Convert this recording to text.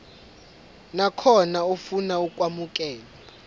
nakhona ofuna ukwamukelwa